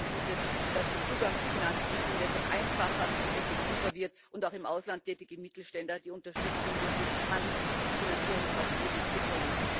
Wichtig ist, dass der Zugang zu Finanzmitteln deshalb einfacher und effektiver wird und auch im Ausland tätige Mittelständler Unterstützung durch die Handelsfinanzierungsfazilität bekommen.